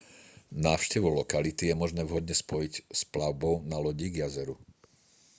návštevu lokality je možné vhodne spojiť s plavbou na lodi k jazeru